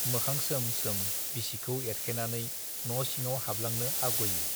मोखां सोम सोम बिसिखौ एरखेनानै न' सिङाव हाबलांनो आग'यो।